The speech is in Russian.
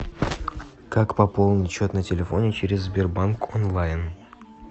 как пополнить счет на телефоне через сбербанк онлайн